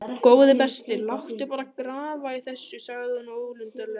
Góði besti, láttu bara grafa í þessu sagði hún ólundarlega.